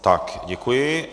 Tak, děkuji.